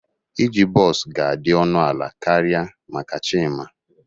Iji bọs ga-adị ọnụ ala karịa maka Chima